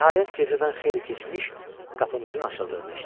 Nəhayət gecədən xeyli keçmiş, qapımızın açıldığını eşitdim.